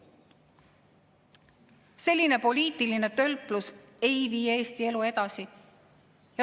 Selline poliitiline tölplus ei vii Eesti elu edasi.